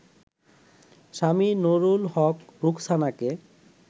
Swami Nurul Haque রোকসানাকে